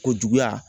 Ko juguya